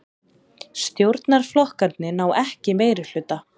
Stjórnarflokkarnir ná ekki meirihluta